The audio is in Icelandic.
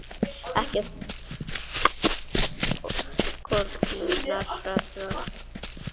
Ekki þessi úttroðnu net sem hinar konurnar rogast með.